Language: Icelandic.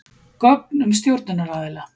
Gögn um stjórnunaraðila.